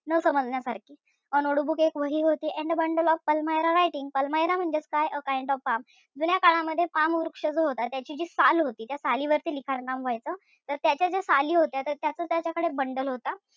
न समजण्यासारखी a note book एक वही होती. and a bundle of almirah writing almirah म्हणजेच काय a kind of palm जुन्या काळामध्ये palm वृक्ष जो होता, त्याची जी साल होती, त्या सालीवरती लिखाणकाम व्हायचं. तर त्याच्या ज्या साली होत्या, त्याचं त्याच्याकडे bundle होतं.